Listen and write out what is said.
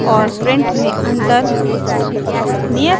puts और print में अंतर